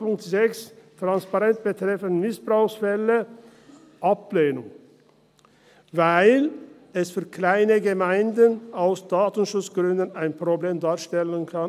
Punkt 6, Transparenz betreffend Missbrauchsfälle, lehnen wir ab, weil dies für kleine Gemeinden aus Datenschutzgründen ein Problem darstellen kann.